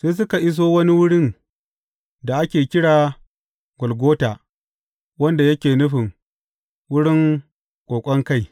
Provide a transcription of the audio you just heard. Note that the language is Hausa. Sai suka iso wani wurin da ake kira Golgota wanda yake nufin Wurin Ƙoƙon Kai.